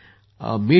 मी तर ठीक आहे